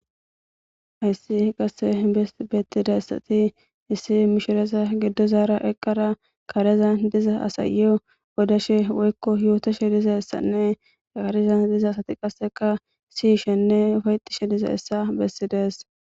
hayssi qasse bettida issati issi mishiresa giddo zaara eqqara kareza diza asayeyo odashe woykko yootoshe diza essanne aqareza diza asati qasseka siyishenne fayxishe diza issa bessides